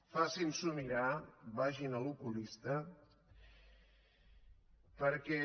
facin s’ho mirar vagin a l’oculista perquè